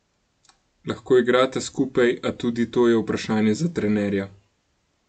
Lahko igrata skupaj, a tudi to je vprašanje za trenerja.